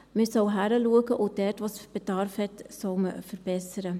Man soll hinschauen, und dort, wo es Bedarf hat, soll man verbessern.